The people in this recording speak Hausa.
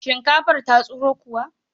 Shinkafarka ta tsiro kuwa?